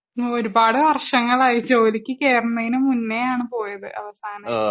ഒരുപാട് വർശങ്ങളായി ജോലിക്ക് കേർണെന്ന് മുന്നേ ആണ് പോയത് അവസാനമായിട്ട്